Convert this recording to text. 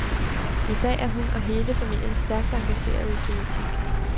I dag er hun og hele familien stærkt engageret i politik.